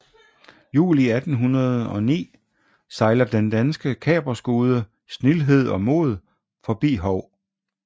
Juli 1809 sejler den danske kaperskude Snildhed og Mod forbi Hou